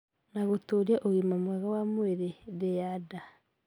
na gũtũũria ũgima mwega wa mwĩrĩ ndĩ ya nda